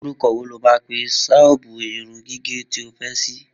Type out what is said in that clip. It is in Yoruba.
Orúkọ wo lo máa pe ṣọ́ọ̀bù irun gígẹ̀ tí o fẹ́ ṣí